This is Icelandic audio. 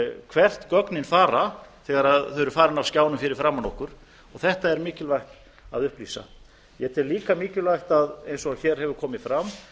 hvert gögnin fara þegar þau eru farin af skjánum fyrir framan okkur og þetta er mikilvægt að upplýsa ég tel líka mikilvægt eins og hér hefur komið fram